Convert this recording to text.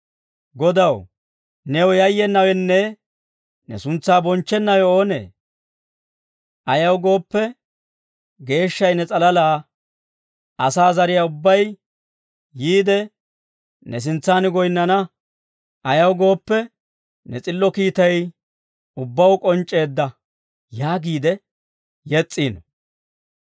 Godaw, new yayyenawenne ne suntsaa bonchchennawe oonee? Ayaw gooppe, geeshshay ne s'alalaa. Asaa zariyaa ubbay yiide, ne sintsan goyinnana; ayaw gooppe, ne s'illo kiitay ubbaw k'onc'c'eedda» yaagiide yes's'iino.